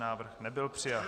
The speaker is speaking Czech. Návrh nebyl přijat.